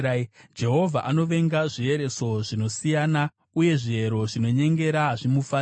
Jehovha anovenga zviereso zvinosiyana, uye zviero zvinonyengera hazvimufadzi.